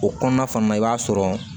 O kɔnɔna fana na i b'a sɔrɔ